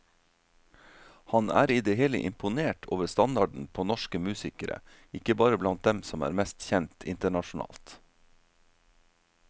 Han er i det hele imponert over standarden på norsk musikere, ikke bare blant dem som er mest kjent internasjonalt.